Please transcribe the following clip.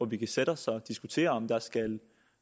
vi kan sætte os og diskutere om der skal